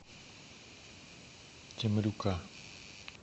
темрюка